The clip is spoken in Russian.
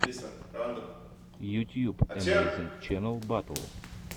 ютьюб эмэйзинг ченнал батл